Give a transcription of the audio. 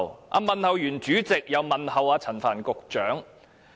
他問候主席後便問候陳帆局長。